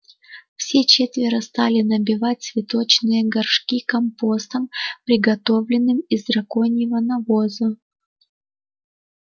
все четверо стали набивать цветочные горшки компостом приготовленным из драконьего навоза